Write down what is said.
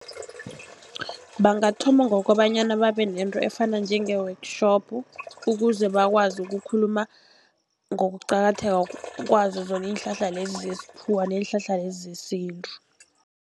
Bangathoma ngokobanyana babe nento efana njenge-workshop, ukuze bakwazi ukukhuluma ngokuqakatheka kwazo zona iinhlahla lezi zesikhuwa, neenhlahla lezi zesintu.